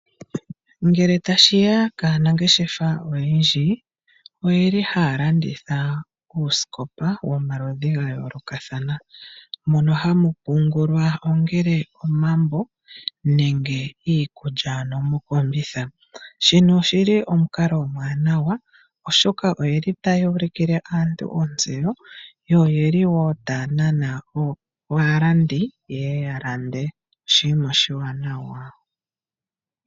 Ngele tashiya kaanangeshefa oyendji oyeli haya landitha oosikopa dhomaludhi ga yoolokathana mono hamu pungulwa ano ongele omambo nenge iikulya mokombitha, shino oshili omukalo omwaanawa, oshoka oyeli taya ulikile aantu ontseyo yo oyeli wo taya nana aalandi yeye ya lande. Oshinima oshiwanawa.